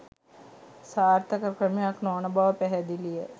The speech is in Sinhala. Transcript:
සාර්ථක ක්‍රමයක් නොවන බව පැහැදිලිය